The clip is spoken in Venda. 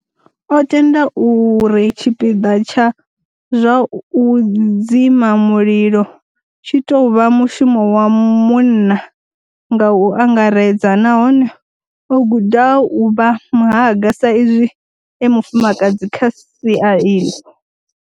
O tenda uri tshipiḓa tsha zwa u dzima mulilo tshi tou vha mushumo wa munna nga u angaredza nahone o guda u vha muhaga sa izwi e mufumakadzi kha sia iḽo.